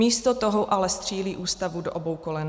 Místo toho ale střílí Ústavu do obou kolen.